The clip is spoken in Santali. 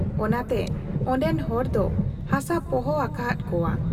ᱚᱱᱟ ᱛᱮ ᱚᱱᱰᱮᱱ ᱦᱚᱲ ᱫᱚ ᱦᱟᱥᱟ ᱯᱚᱦᱚ ᱟᱠᱟᱦᱟᱫ ᱠᱚᱣᱟ ᱾